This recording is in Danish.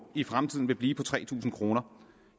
i fremtiden vil blive på tre tusind kroner